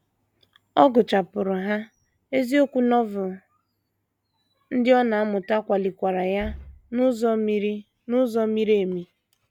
Ọ gụchapụrụ ha, eziokwu Novel ndị ọ na - amụta kwalikwara ya n’ụzọ miri n’ụzọ miri emi.